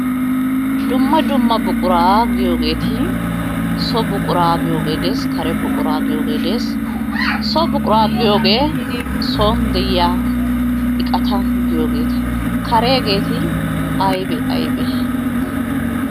Dumma dumma buquraa giyogeeti so buquraa giyogee de'ees kare buquraa giyogee de'ees, so buquraa giyogee soon de'iya iqata giyogeeta, kareegeeti aybee aybee?